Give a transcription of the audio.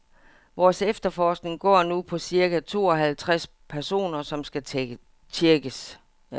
Vores efterforskning går nu på cirka tooghalvtreds personer, som skal tjekkes.